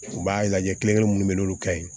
U b'a lajɛ kelen-kelen minnu bɛ yen n'olu ka ɲi